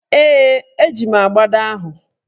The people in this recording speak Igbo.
Ee, eji m agbada ahụ.